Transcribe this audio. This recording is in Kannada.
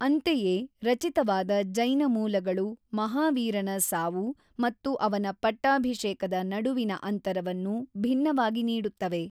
ಅಂತೆಯೇ, ರಚಿತವಾದ ಜೈನ ಮೂಲಗಳು ಮಹಾವೀರನ ಸಾವು ಮತ್ತು ಅವನ ಪಟ್ಟಾಭಿಷೇಕದ ನಡುವಿನ ಅಂತರವನ್ನು ಭಿನ್ನವಾಗಿ ನೀಡುತ್ತವೆ.